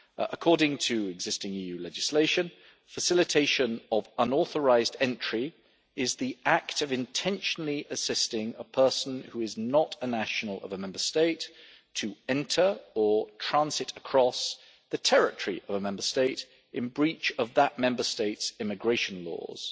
According to existing EU legislation, facilitation of unauthorised entry is the act of intentionally assisting a person who is not a national of a Member State to enter or transit across the territory of a Member State in breach of that Member State's immigration laws.